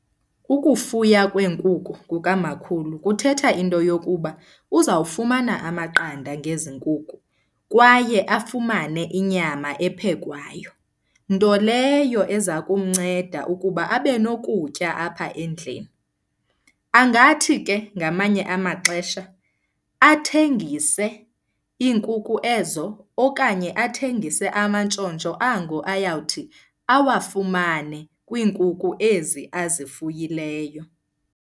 Ukufuya kweenkukhu kukamakhulu kuthetha into yokuba uzawufumana amaqanda ngezi nkuku kwaye afumane inyama ephekwayo. Nto leyo eza kumnceda ukuba abe nokutya apha endlini. Angathi ke ngamanye amaxesha athengise iinkukhu ezo okanye athengise amantshontsho ango ayawuthi awafumane kwiinkukhu ezi azifuyileyo.